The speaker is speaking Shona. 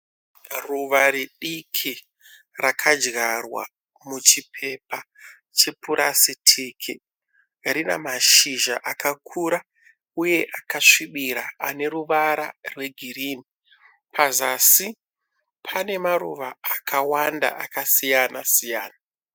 Ruva ridiki rakazvarwa muchipepa chepursitiki rinashizva akakura uye akasvibira aneruvara rwegreen. Pazasi panemaruva akawanda akasiyana siyana.